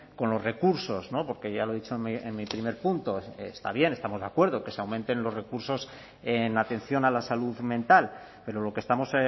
con los recursos porque ya lo he dicho en mi primer punto está bien estamos de acuerdo que se aumenten los recursos en atención a la salud mental pero lo que estamos